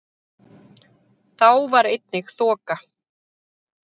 Þá var einnig þoka